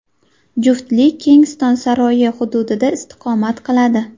Juftlik Kensington saroyi hududida istiqomat qiladi.